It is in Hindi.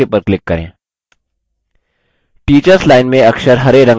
teachers line में अक्षर हरेरंग में बदल गये हैं